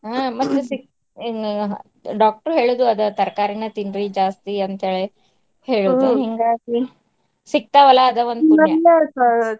ಹ್ಮ್ ಮೊದ್ಲ ಸಿಗ್~ doctor ಹೇಳುದು ಅದ ತರಕಾರಿನ ತಿನ್ರಿ ಜಾಸ್ತಿ ಅಂತೇಳಿ ಹಿಂಗಾಗಿ ಸಿಗ್ತಾವಲ್ಲಾ ಅದ ಒಂದ್ .